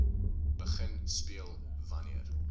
begin speel wanneer